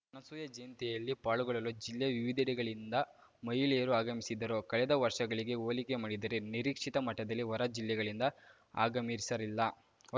ಅನಸೂಯ ಜಯಂತಿಯಲ್ಲಿ ಪಾಲ್ಗೊಳ್ಳಲು ಜಿಲ್ಲೆಯ ವಿವಿಧೆಡೆಗಳಿಂದ ಮಹಿಳೆಯರು ಆಗಮಿಸಿದ್ದರು ಕಳೆದ ವರ್ಷಗಳಿಗೆ ಹೋಲಿಕೆ ಮಾಡಿದರೆ ನಿರೀಕ್ಷಿತ ಮಟ್ಟದಲ್ಲಿ ಹೊರ ಜಿಲ್ಲೆಗಳಿಂದ ಆಗಮಿಸಿರಲಿಲ್ಲ